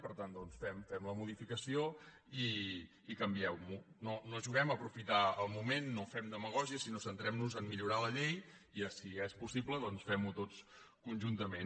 per tant fem la modificació i canviem ho no juguem a aprofitar el moment no fem demagògia sinó centrem nos a millorar la llei i si és possible fem ho tots conjuntament